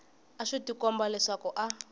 a swi tikomba leswaku a